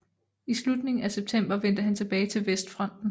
I slutningen af september vendte han tilbage til Vestfronten